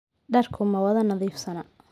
Dharku ma wada nadiifsana.